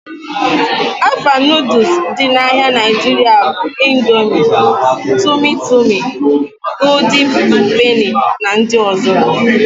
Afa noodules dị n'ahia Nigeria bụ Indomie, Tumi Tumi, Gooldin Peni na ndị ọzọ